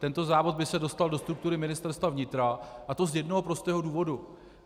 Tento závod by se dostal do struktury Ministerstva vnitra, a to z jednoho prostého důvodu.